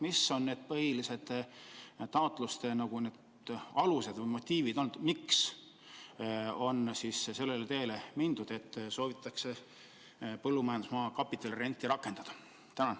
Mis on olnud need põhilised taotluste alused või motiivid, et on mindud sellele teele, et soovitakse põllumajandusmaa kapitalirenti rakendada?